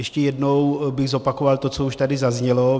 Ještě jednou bych zopakoval to, co už tady zaznělo.